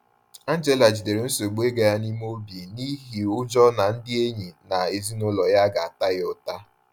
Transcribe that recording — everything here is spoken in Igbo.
Angela jidere nsogbu ego ya n’ime obi n’ihi ụjọ na ndị enyi na ezinụlọ ya ga-ata ya ụta.